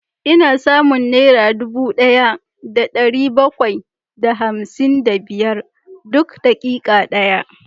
Ina samun naira dubu daya da dari bakwai da hamsin da biyar duk dakika daya